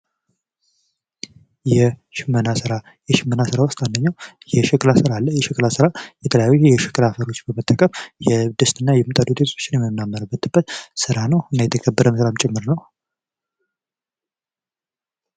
የሽመና ስራ የሽመና ስራ ውስጥ አንደኛው የሸክላ ስራ አለ የሸክላ ስራ የተለያዩ የሸክላ አፈሮችን በመጠቀም የድስትና የምጣድ ውጤቶችን የምናመርትበት ስራ ነው። እና የተከበረ ስራም ጭምር ነው።